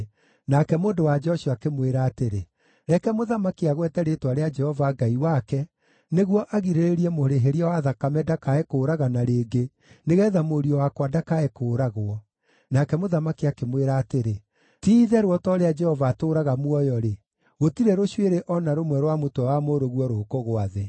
Nake mũndũ-wa-nja ũcio akĩmwĩra atĩrĩ, “Reke mũthamaki agwete rĩĩtwa rĩa Jehova Ngai wake, nĩguo agirĩrĩrie mũrĩhĩria wa thakame ndakae kũũragana rĩngĩ, nĩgeetha mũriũ wakwa ndakae kũũragwo.” Nake mũthamaki akĩmwĩra atĩrĩ, “Ti-itherũ o ta ũrĩa Jehova atũũraga muoyo-rĩ, gũtirĩ rũcuĩrĩ o na rũmwe rwa mũtwe wa mũrũguo rũkũgũa thĩ.”